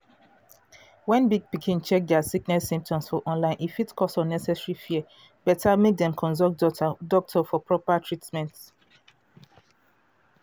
wen big pikin check dia sickness symptoms for online e fit cause unnecessary fear. better mek dem consult doctor for proper treatment.